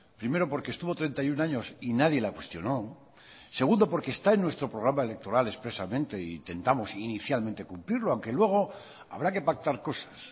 primero porque estuvo treinta y uno años y nadie la cuestionó segundo porque está en nuestro programa electoral expresamente e intentamos inicialmente cumplirlo aunque luego habrá que pactar cosas